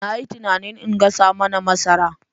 Na yi tunanin in gasa mana masara.